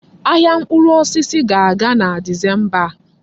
Ahịa mkpụrụ osisi ga-aga na Disemba a.